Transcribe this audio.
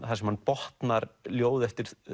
þar sem hann botnar ljóð eftir